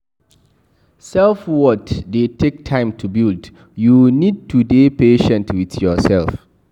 Self worth dey take time to build, you need to dey patient with yourself